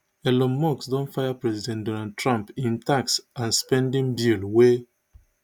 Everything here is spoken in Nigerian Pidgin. elon musk don fire president donald trump im tax and spending bill wey